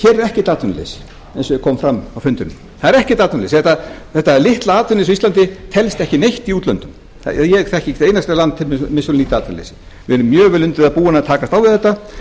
hér er ekkert atvinnuleysi eins og kom fram á fundinum það er ekkert atvinnuleysi þetta litla atvinnuleysi á íslandi telst ekki neitt í útlöndum ég þekki ekki eitt einasta land sem er með svo lítið atvinnuleysi við erum mjög vel undir það búin að takast á við þetta